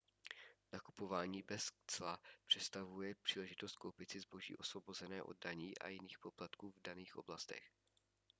nakupování bez cla představuje příležitost koupit si zboží osvobozené od daní a jiných poplatků v daných oblastech